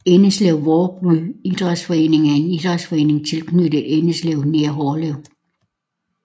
Endeslev Vråby Idræts Forening er en idrætsforening tilknyttet Endeslev nær Hårlev